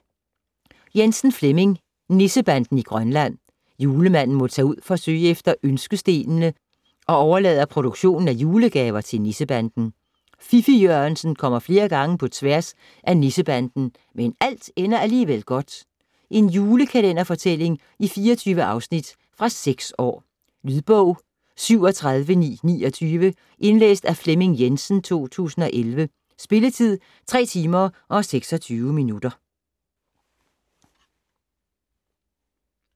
Jensen, Flemming: Nissebanden i Grønland Julemanden må tage ud for at søge efter ønskestenene og overlader produktionen af julegaver til Nissebanden. Fiffig-Jørgensen kommer flere gange på tværs af Nissebanden, men alt ender alligevel godt. En julekalenderfortælling i 24 afsnit. Fra 6 år. Lydbog 37929 Indlæst af Flemming Jensen, 2011. Spilletid: 3 timer, 26 minutter.